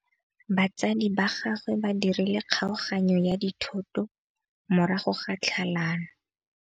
Batsadi ba gagwe ba dirile kgaoganyô ya dithoto morago ga tlhalanô.